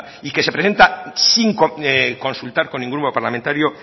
y que se presenta sin consultar con ningún grupo parlamentario